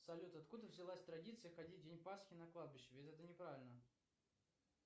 салют откуда взялась традиция ходить в день пасхи на кладбище ведь это не правильно